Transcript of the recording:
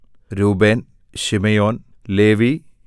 Reuben Simeon Levi